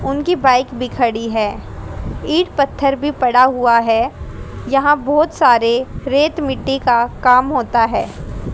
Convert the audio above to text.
उनकी बाइक भी खड़ी है। ईट पत्थर भी पड़ा हुआ है। यहां बहोत सारे रेत मिट्टी का काम होता है।